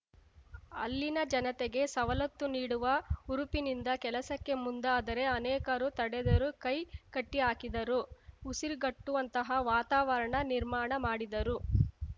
ಅಲ್ಲಿನ ಜನತೆಗೆ ಸವಲತ್ತು ನೀಡುವ ಹುರುಪಿನಿಂದ ಕೆಲಸಕ್ಕೆ ಮುಂದಾದರೆ ಅನೇಕರು ತಡೆದರು ಕೈ ಕಟ್ಟಿಹಾಕಿದರು ಉಸಿರುಗಟ್ಟುವಂತಹ ವಾತಾವರಣ ನಿರ್ಮಾಣ ಮಾಡಿದರು